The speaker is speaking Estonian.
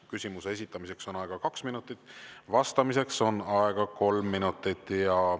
Küsimuse esitamiseks on aega kaks minutit, vastamiseks on aega kolm minutit.